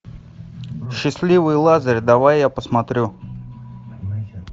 счастливый лазарь давай я посмотрю